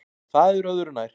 En það er öðru nær.